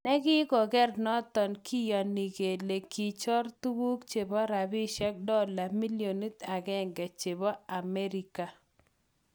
Nekokiker noton kiyoni kele kichor tuguk chebo rapishek dola millionit agenge chebo America.